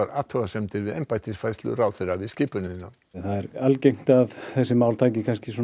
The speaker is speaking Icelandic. athugasemdir við embættisfærslu ráðherra við skipunina það er algengt að þessi mál taki